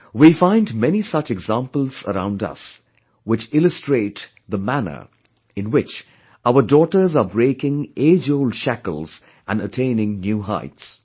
We find many such examples around us which illustrate the manner in which our daughters are breaking age old shackles and attaining new heights